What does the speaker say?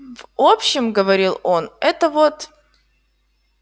в общем говорил он это вот